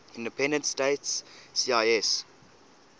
independent states cis